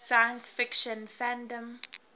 science fiction fandom